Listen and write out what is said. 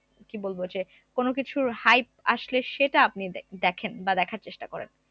কি বলবো যে কোন কিছুর hype আসলে সেটা আপনি দে দেখেন বা দেখার চেষ্টা করেন